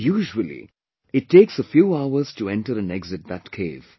Usually it takes a few hours to enter and exit that cave